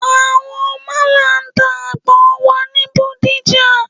Àwọn málà ń ta àgbọn wà ní Bódìjà.